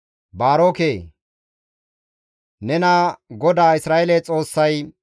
«Baaroke! Nena GODAA Isra7eele Xoossay,